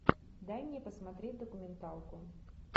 дай мне посмотреть документалку